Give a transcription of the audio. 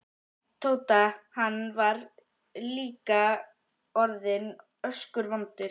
Tóta, hann var líka orðinn öskuvondur.